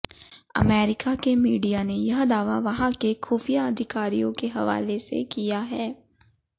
America के media ने यह दावा वहां के खुफिया अधिकारियों के हवाले से किया है